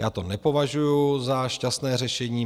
Já to nepovažuju za šťastné řešení.